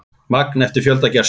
Magn eftir fjölda gesta.